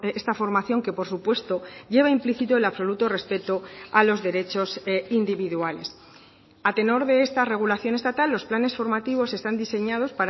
está formación que por supuesto lleva implícito el absoluto respeto a los derechos individuales a tenor de esta regulación estatal los planes formativos están diseñados